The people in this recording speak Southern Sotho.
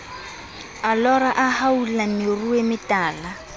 a lora a haola meruemetala